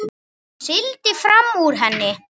Sigldi fram úr henni.